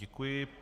Děkuji.